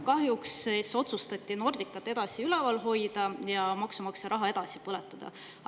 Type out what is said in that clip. Kahjuks otsustati Nordicat edasi üleval hoida ja maksumaksja raha edasi põletada.